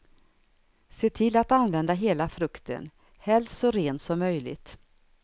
Se till att använda hela frukten, helst så ren som möjligt.